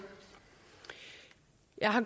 jeg